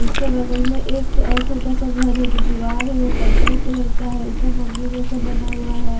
उसके बगल में एक और छोटा सा घर है जो दीवार है वो पर्पल कलर का है ऊपर जैसा बना हुआ है।